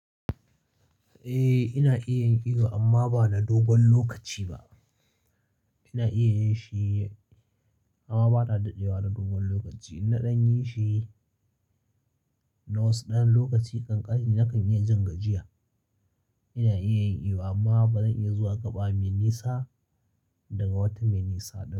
Eh ina iya yin iyo amma ba na dogon lokaci ba. Ina iya yi shi amma ba na dadewa na dogon lokaci. In ɗan yi shi na wasu ɗan lokaci ƙanƙani nakan iya jin gajiya. Ina iya yin iyo amma ba zan iya zuwa gaba mai nisa daga wata mai nisa ba.